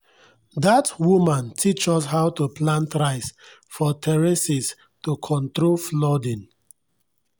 dat woman teach us how to plant rice for terraces to control flooding.